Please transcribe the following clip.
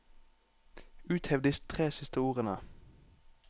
Uthev de tre siste ordene